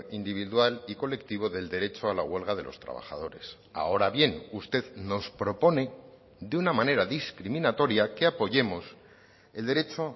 individual y colectivo del derecho a la huelga de los trabajadores ahora bien usted nos propone de una manera discriminatoria que apoyemos el derecho